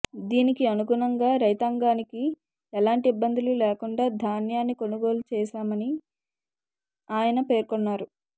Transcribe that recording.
దీనికి అనుగుణంగా రైతాంగానికి ఎలాంటి ఇబ్బందులు లేకుండా ధాన్యాన్ని కొనుగోలు చేశామని ఆయన పేర్కొన్నారు